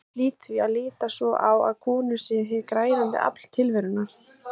Ég hlýt því að líta svo á að konur séu hið græðandi afl tilverunnar.